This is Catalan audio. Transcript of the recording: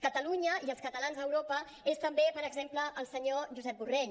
catalunya i els catalans a europa és també per exemple el senyor josep borrell